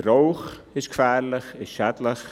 Der Rauch ist gefährlich und ist schädlich.